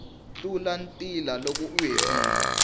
tlula ntila loko u hetile